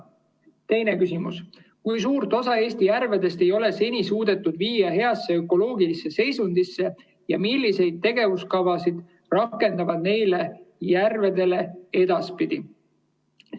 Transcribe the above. Teine küsimus: "Kui suurt osa Eesti järvedest ei ole seni suudetud viia heasse ökoloogilisse seisundisse ja millised tegevuskavad rakenduvad neile järvedele edaspidi?